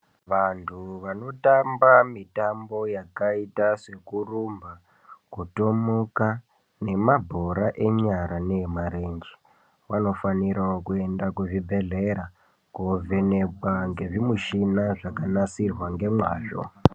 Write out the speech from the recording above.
Vantu vanotamba mitambo yakaita sekurumba, kutomuka, nemabhora enyara neemarenje vanofanirawo kuenda kuzvibhedhlera koovhenekwa ngezvimushina zvakanasirwa ngemwazvo